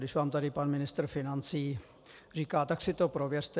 Když vám tady pan ministr financí říká, tak si to prověřte.